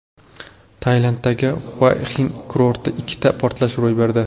Tailanddagi Xuaxin kurortida ikkita portlash ro‘y berdi.